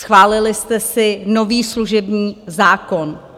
Schválili jste si nový služební zákon.